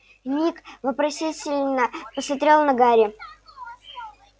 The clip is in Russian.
ник вопросительно посмотрел на гарри